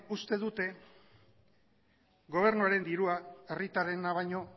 uste dute gobernuaren dirua herritarrena baino